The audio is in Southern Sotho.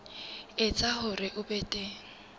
etsa hore ho be teng